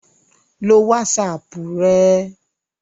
lo wásapù rẹ